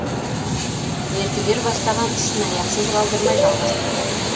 мердігер бастаған ісін аяқсыз қалдырмай жалғастыра берді